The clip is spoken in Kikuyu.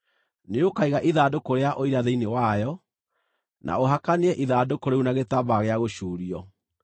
Nĩũkaiga ithandũkũ rĩa Ũira thĩinĩ wayo, na ũhakanie ithandũkũ rĩu na gĩtambaya gĩa gũcuurio.